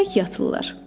Tək yatırlar.